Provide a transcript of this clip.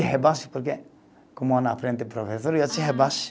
Rebaixo porque, como na frente o professor, eu te rebaixo.